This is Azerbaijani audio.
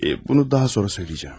Eə bunu daha sonra söyləyəcəm.